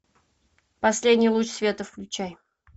последний луч света включай